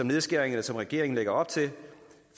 nedskæringer som regeringen lægger op til